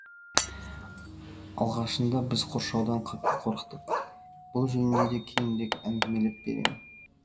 алғашында біз қоршаудан қатты қорықтық бүл жөнінде де кейінірек әңгімелеп беремін